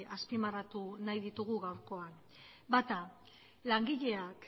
azpimarratu nahi ditugu gaurkoan bata langileak